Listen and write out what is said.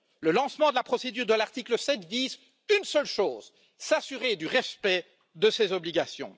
Le lancement de la procédure de l'article 7 vise une seule chose s'assurer du respect de ces obligations.